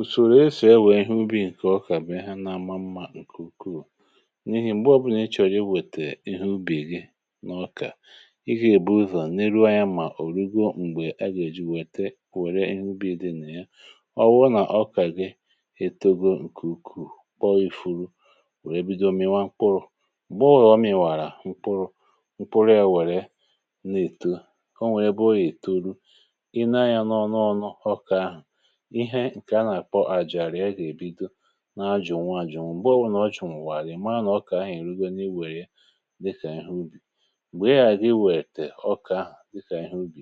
Ùsòrò èsù, è wee nwee ihe ubi̇, nke ọkà bụ ihe ha nà-àmà mmȧ nke ukwuù... N’ihì m̀gbè ọ̇bụ̇nà ịchọ̇rọ̀ iwètè ihe ubì gị n’ọkà, ị gà-èbu ụzọ̀ n’elu anya, mà òrìgo, m̀gbè a gà-èji wètè kwère ihe ubi̇ dị nà ya. um Ọ wụọ, nà ọkà gị etogọ̀ nke ukwuù, kpọ ifulu, wèe bido mịwa mkpụrụ̇. M̀gbè ọ wụ̀rụ̀ọ, mìwàrà mkpụrụ̇, mkpụrụ yȧ wèrè nà-ètu kọ. Nwèrè bụ i̇turu, i nee yȧ n’ọ̀nụ ọnụ ọkà ahụ̀. Ihe nke à nà-àkpọ àjàrịa, gị èbido na-ajụ̀nwa àjụ̀nwa, ǹgbọọbụ nà um ọjụ̀nwà, àlịmaa nà ọkà, ahịhịa erùgà n’iwèrè, dịkà ubì. M̀gbè a dịwèrè tè ọkà ahụ̀ dịkà ubì,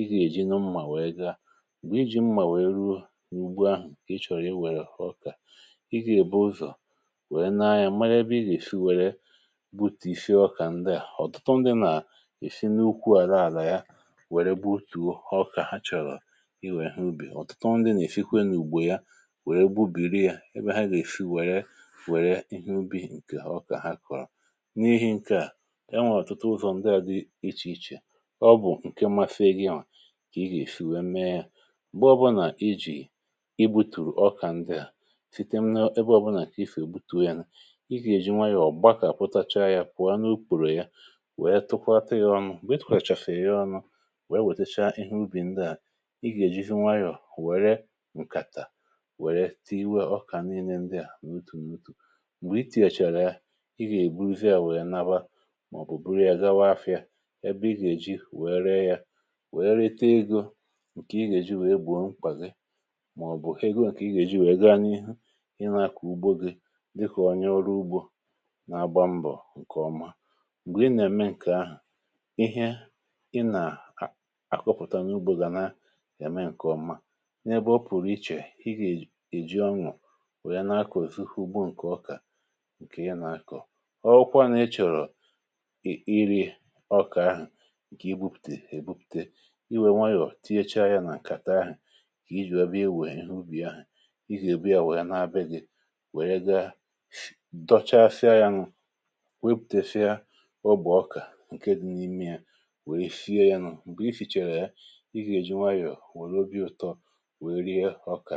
ị gà yà ji na mmà, wèe gaa iji mmà, wèe ruo n’ugbu ahụ̀ nke ị chọ̀rọ̀ ị wèrè ọkà ị gà yà. um Ụzọ̀ wèe na-a ya mere ebe ị gà-èfi, wèrè butife ọkà ndị à. Ọ̀tụtụ ndị nà-èfi n’ukwu àlaàla, ya wèrè butuo ọkà ha chọ̀rọ̀, i wèe ha ubì. Wèrè gbu biiri à ebe ha gà-èfi, wèrè ihe ubì nke ọkà ha kọ̀rọ̀ n’ihi nke à, ya nwèrè ọ̀tụtụ ụzọ̀ ndị à dị iche iche... Ọ bụ̀ nke mmafe e gi nwà, kà ị gà-èfi, wèe mee yȧ. M̀gbè ọbụnà ijì, ị butùrù ọkà ndị à site m’ n’ebe ọbụnà kà ị fèe, gbutu yȧ nụ̇ um Ị gà-èji nwayọ̀ọ̀ gbakọ̀, àpụtacha yȧ, pụ̀ọ n’upùrù ya, wèe tụkwatȧ yȧ ọṅụ̇, wèe tụkwàchàfèrè yȧ ọṅụ̇. Wèe wètècha ihe ubì ndị à, ị gà-èji nwayọ̀ wère tìwe ọkà niile ndị à n’utù n’utù. Bụ̀ i tìèchàrà ya, ị gà-èbuluzi à, wèe naba, màọ̀bụ̀ buru yȧ gawa afịȧ, ẹbẹ ị gà-èji wèe ree yȧ, wèe rete egȯ... Nke ị gà-èji wèe gbo nkwà gị, màọ̀bụ̀ ị gà-èji wèe gaa n’ihu ị na-akà ugbò gị, dịkà onye ọrụ ugbȯ nà-agba mbọ̀. Nke ọma bụ̀, ị nà-ème nke ahụ̀, ihe ị nà-àkọpụ̀tanye ugbȯ gà na-ème nke ọma, wèe na-akọ̀ èzi ugbò um Nke ọkà nke ya nà-akọ̀ ọrụkwa, na-echọ̀rọ̀ i irė ọkà ahụ̀. Nke ibupùtè èbupùte, i wèe nwayọ̀ tiecha ya nà ǹkàta ahụ̀, nke i jìwa bịa, ewè ihe ubì ahụ̀. Ị hà èbù ya, wèe nà-abịa gị, wèe gà dochàfìa ya nù, wepùtefia ọbùọ ọkà nke dị n’ime ya, wèe fìa ya nù. um Nke i fìchàrà ya, ị gà-èji nwayọ̀, wòrò obi ụtọ, màkà gị.